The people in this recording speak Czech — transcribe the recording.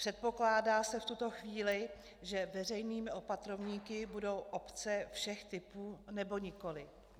Předpokládá se v tuto chvíli, že veřejnými opatrovníky budou obce všech typů, nebo nikoliv?